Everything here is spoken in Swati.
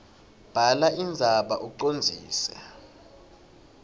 bhala indzaba ucondzise